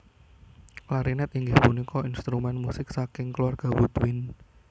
Klarinet inggih punika instrumen musik saking keluarga woodwind